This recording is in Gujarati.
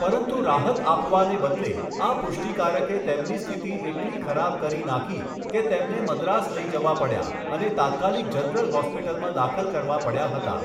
પરંતુ રાહત આપવાને બદલે, આ પુષ્ટિકારકે તેમની સ્થિતિ એટલી ખરાબ કરી નાખી કે તેમને મદ્રાસ લઈ જવા પડ્યા અને તાત્કાલિક જનરલ હૉસ્પિટલમાં દાખલ કરવા પડ્યા હતા.